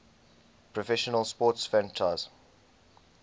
professional sports franchise